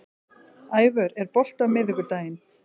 Ævör, er bolti á miðvikudaginn?